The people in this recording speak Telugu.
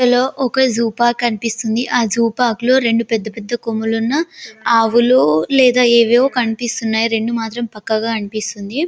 లో ఒక జూ పార్క్ కనిపిస్తుంది ఆ జూ పార్క్ లో రెండు పెద్ద పెద్ద కొమ్ములున్నా ఆవులు లేదా ఏవేవో కనిపిస్తున్నాయి రెండు మాత్రం పక్కాగా అనిపిస్తుంది